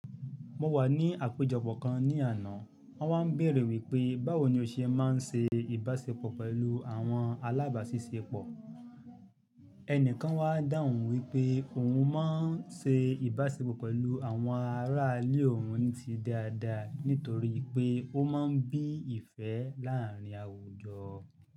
Mo wà ní àpéjọpọ̀ kan ní àná, wọn wá ń béèrè wípé báwo ni ó ṣe má ń ṣe ìbáṣepọ̀ pẹ̀lú àwọn alábàáṣiṣẹ́pọ̀. Ẹni kan wá dáhùn wípé òun má ń ṣe ìbáṣepọ̀ pẹ̀lú àwọn ará ilé òun ní ti dáadáa nítorí pé ó má ń bí ìfẹ́ láàárín àwùjọ.